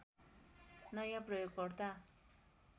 नयाँ प्रयोगकर्ता